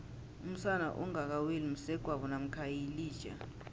umsana ongaka weli msegwabo mamkha yilija